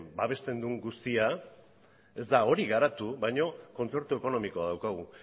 babesten duen guztia ez da hori garatu baina kontzertu ekonomikoa daukagu